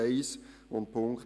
Dies ist der erste Punkt.